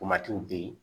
be yen